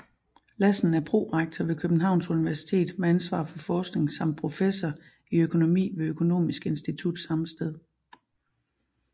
Lassen er prorektor ved Københavns Universitet med ansvar for forskning samt professor i økonomi ved Økonomisk Institut samme sted